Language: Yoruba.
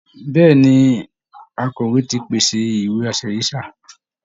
Bẹ́ẹ̀ ni, akọ̀wé ti pèsè ìwé-aṣẹ̀rí sáà